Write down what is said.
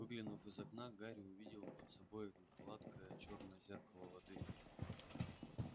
выглянув из окна гарри увидел под собой гладкое чёрное зеркало воды